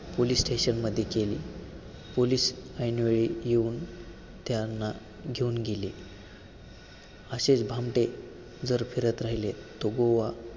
police station मध्ये गेले. police ऐंनवेळी येऊन त्यांना घेऊन गेले. असेच भामटे जर फिरत राहिले तो गोवा